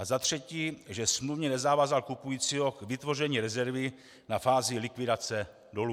A za třetí, že smluvně nezavázal kupujícího k vytvoření rezervy na fázi likvidace dolu.